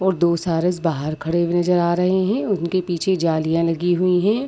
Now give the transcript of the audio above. दो सारस बाहर खड़े हुए नजर आ रहे हैं उनके पीछे जालियाँ लगी हुई है।